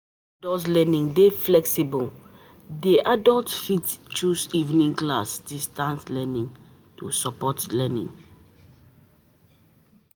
Adult learning dey flexible, di adult fit choose evening class, distance learning to support learning